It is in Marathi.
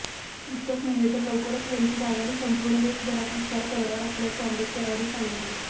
इतकच नव्हे तर लवकरच वंचित आघाडी संपूर्ण देशभरात विस्तार करणार असल्याचे आंबेडकरांनी सांगितले